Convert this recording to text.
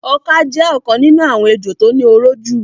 Ọka jẹ́ ọ̀kan nínú àwọn ejò tó ní oró jù.